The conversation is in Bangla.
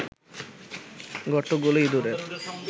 গর্তগুলো ইঁদুরের